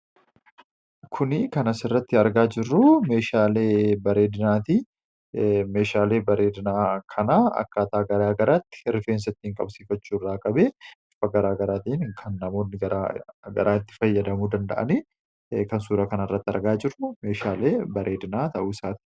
Kuni kan asirratti argaa jirru meeshaalee bareedinaati. Meeahaalee bareedinaa kana akkaataa gara garaatti rifeensa ittiin qabsiifachuu irraa qabee bifa gara garaatiin kan namootni gara garaa itti fayyadamuu danda’ani, kan suura kanarratti argaa jirru meeshaalee bareedinaa ta'uu isaaniiti.